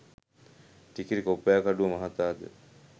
ටිකිරි කොබ්බෑකඩුව මහතා ද